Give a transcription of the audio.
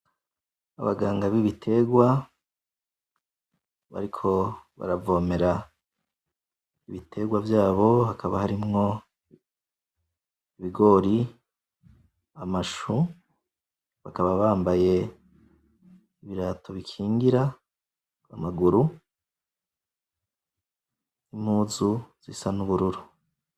Abaganga b'Ibitegwa bariko baravomera Ibitegwa vyabo hakaba harimwo ibigori, amashu, bakaba bambaye Ibirato bikingira amaguru, n'impuzu isa n'ubururu.